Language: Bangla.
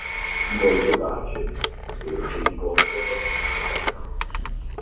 গল্পটা আছে তো সেই গল্পটাই কথাটা হচ্ছে